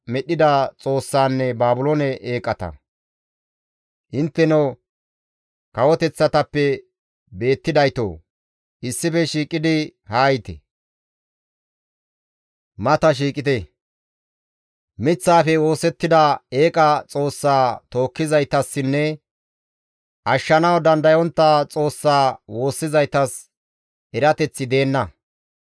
«Intteno kawoteththatappe beettidaytoo! issife shiiqidi haayite; mata shiiqite. Miththaafe oosettida eeqa xoossaa tookkizaytassinne, ashshanawu dandayontta xoossaa woossizaytas erateththi deenna.